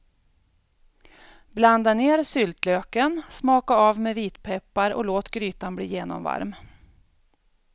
Blanda ner syltlöken, smaka av med vitpeppar och låt grytan bli genomvarm.